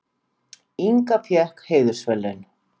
Inga fékk heiðursverðlaun